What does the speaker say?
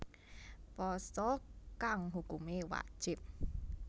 Pasa kang hukumé wajib